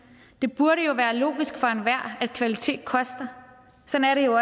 jo burde være logisk for enhver at kvalitet koster sådan er det jo